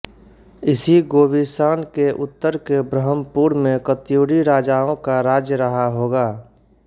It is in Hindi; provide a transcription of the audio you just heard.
इसी गोविषाण के उत्तर के ब्रह्मपुर में कत्यूरीराजाओं का राज्य रहा होगा